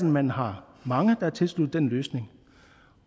man har mange der er tilsluttet den løsning